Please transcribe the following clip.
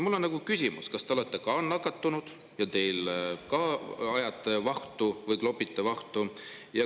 Mul on küsimus: kas te olete nakatunud ja klopite vahtu?